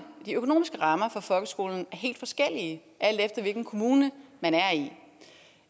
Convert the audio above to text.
de økonomiske rammer for folkeskolen er helt forskellige alt efter hvilken kommune man